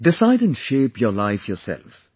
Decide and shape your life yourself